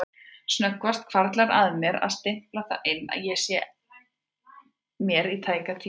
Snöggvast hvarflar að mér að stimpla það inn en sé að mér í tæka tíð.